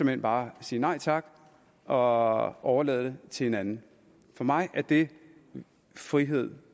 hen bare sige nej tak og overlade det til en anden for mig er det frihed